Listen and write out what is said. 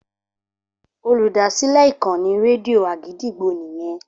Olùdásílẹ̀ ìkànnì rédíò Àgídìgbo nìyẹn.